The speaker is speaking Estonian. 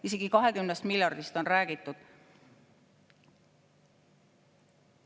Isegi 20 miljardist on räägitud.